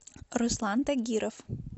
руслан тагиров